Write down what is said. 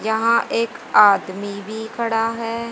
यहां एक आदमी भी खड़ा है।